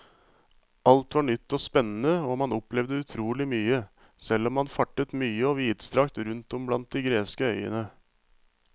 Alt var nytt og spennende og man opplevde utrolig mye, selv om man fartet mye og vidstrakt rundt om blant de greske øyene.